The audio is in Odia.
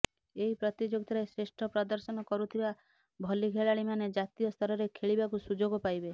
ଏହି ପ୍ରତିଯୋଗିତାରେ ଶ୍ରେଷ୍ଠ ପ୍ରଦର୍ଶନ କରୁଥିବା ଭଲି ଖେଳାଳୀ ମାନେ ଜାତୀୟ ସ୍ତରରେ ଖେଳିବାକୁ ସୁଯୋଗ ପାଇବେ